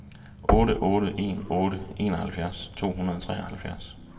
otte otte en otte enoghalvfjerds to hundrede og treoghalvtreds